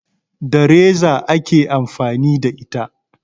Da reza ake amfani da ita